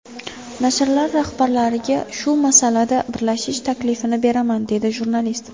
Nashrlar rahbarlariga shu masalada birlashish taklifini beraman”, dedi jurnalist.